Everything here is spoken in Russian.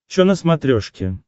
че на смотрешке